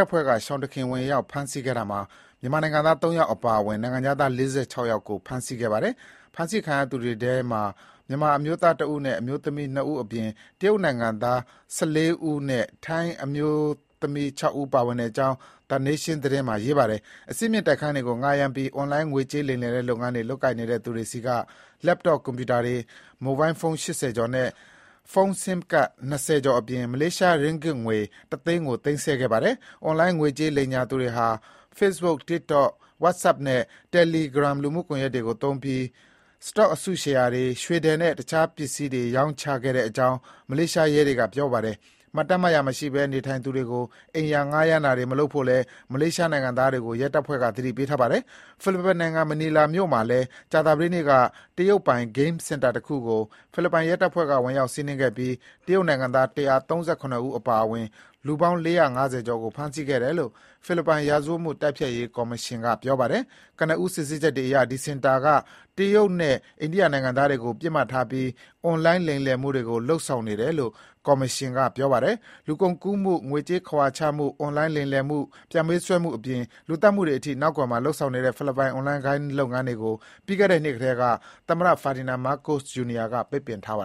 ပ်ဖွဲ့က ရှောင်တခင်ဝင်ရောက် ဖမ်းဆီးခဲ့တာမှာ မြန်မာနိုင်ငံသားသုံးယောက်အပါအဝင် နိုင်ငံခြားသား (၄၆) ယောက်ကို ဖမ်းဆီးခဲ့ ပါတယ်။ ဖမ်းဆီးခံရသူတွေထဲမှာ မြန်မာ အမျိုးသားတဦးနဲ့ အမျိုးသမီးနှစ်ဦးအပြင် တရုတ်နိုင်ငံသား (၁၄) ဦးနဲ့ ထိုင်းအမျိုးသမီးခြောက်ဦး ပါဝင်တဲ့အကြောင်း The Nation သတင်းစာမှာ ရေးပါတယ်။ အဆင့်မြင့်တိုက်ခန်းတွေကို ငှားရမ်းပြီး အွန်လိုင်းငွေကြေးလိမ်လည်တဲ့လုပ်ငန်းတွေ လုပ်ကိုင်နေတဲ့ သူတွေဆီက Laptop ကွန်ပြူတာတွေ၊ မိုဘိုင်းဖုံး (၈၀) ကျော်နဲ့ ဖုန်း Sim ကဒ် (၂၀) ကျော်အပြင် မလေးရှား Ringgit ငွေ တသိန်းကို သိမ်းဆည်းခဲ့ပါတယ်။ အွန်လိုင်းငွေကြေးလိမ်ညာသူတွေဟာ Facebook, TikTok, WhatsApp နဲ့ Telegram လူမှုကွန်ယက်တွေကို သုံးပြီး Stock အစုရှယ်ယာတွေ၊ ရွေထည်နဲ့ တခြားပစ္စည်းတွေရောင်းချခဲ့တဲ့အကြောင်း မလေးရှားရဲတွေက ပြောပါတယ်။ မှတ်တမ်းမှတ်ရာမရှိဘဲ နေထိုင်သူတွေကို အိမ်ယာငှားရမ်းတာတွေမလုပ်ဖို့လည်း မလေးရှား နိုင်ငံသားတွေကို ရဲတပ်ဖွဲ့က သတိ ပေးထားပါတယ်။ ဖိလစ်ပိုင်နိုင်ငံ မနီလာမြို့ မှာလည်း ကြာသပတေးနေ့က တရုတ်ပိုင် ဂိမ်းစင်တာတခုကို ဖိလစ်ပိုင်ရဲ တပ်ဖွဲ့က ဝင်ရောက်စီးနင်းခဲ့ပြီး တရုတ်နိုင်ငံသား ၁၃၇ ဦးအပါအဝင် လူပေါင်း ၄၅၀ ကျော်ကို ဖမ်းဆီးခဲ့တယ်လို့ ဖိလစ်ပိုင် ရာဇ၀တ်မှုတိုက်ဖျက်ရေးကော်မရှင်က ပြောပါတယ်။ ကနဦး စစ်ဆေးချက်တွေအရ ဒီစင်တာက တရုတ်နဲ့အိန္ဒိယနိုင်ငံသားတွေကို ပစ်မှတ်ထားပြီး အွန်လိုင်းလိမ် လည်မှုတွေကို လုပ်ဆောင်နေတယ်လို့ ကော်မရှင်က ပြောပါတယ်။ လူကုန်ကူးမှု၊ ငွေကြေးခဝါချမှု၊ အွန်လိုင်းလိမ်လည်မှု၊ ပြန်ပေးဆွဲမှုအပြင် လူသတ်မှုတွေအထိ နောက်ကွယ်မှာလုပ်ဆောင်နေတဲ့ ဖိလစ်ပိုင် အွန်လိုင်းဂိမ်းလုပ်ငန်းတွေကို ပြီးခဲ့တဲ့ နှစ်ကတည်းက သမ္မတ Ferdinand Marcos Jr. က ပိတ်ပင်ထားတာပါ